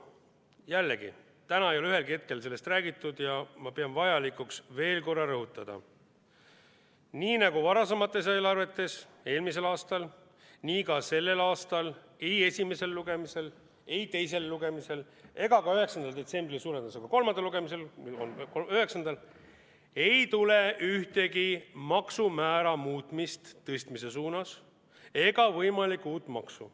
Jällegi, täna ei ole ühelgi hetkel sellest räägitud ja ma pean vajalikuks veel kord rõhutada: nii nagu varasemates eelarvetes, nii nagu eelmisel aastal, nii ka sellel aastal ei esimesel lugemisel, ei teisel lugemisel ega ka suure tõenäosusega 9. detsembril kolmandal lugemisel ei tule ühtegi maksumäära muutmist tõstmise suunas ega võimalikku uut maksu.